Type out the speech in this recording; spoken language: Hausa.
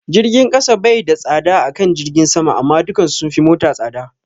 Jirgin kasa bai da tsada akan jirgin sama amma dukan su sunfi mata tsada